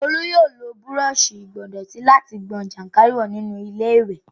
Olú yóò lo búrọọṣì ìgbọ̀ndọ̀tí láti gbọn jàǹkáríwọ̀ nínú iléwẹ̀